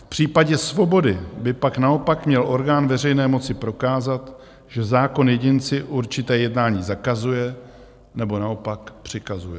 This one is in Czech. V případě svobody by pak naopak měl orgán veřejné moci prokázat, že zákon jedinci určité jednání zakazuje, nebo naopak přikazuje.